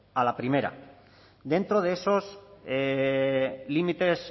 a la primera dentro de esos límites